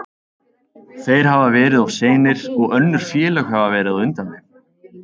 Þeir hafa verið of seinir og önnur félög hafa verið á undan þeim.